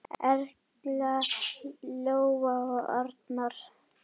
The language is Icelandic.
Erla, Lóa og Arnar.